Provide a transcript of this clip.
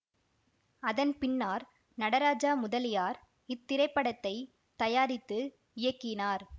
அதன்பின்னார் நடராஜா முதலியார் இத்திரைப்படத்தை தயாரித்து இயக்கினார்